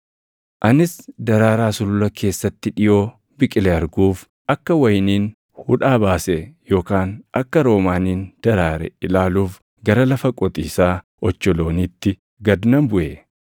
Anis daraaraa sulula keessatti dhiʼoo biqile arguuf, akka wayiniin hudhaa baase yookaan akka roomaaniin daraare ilaaluuf gara lafa qotiisaa ocholooniitti gad nan buʼe.